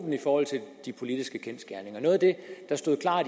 i forhold til de politiske kendsgerninger noget af det der stod klart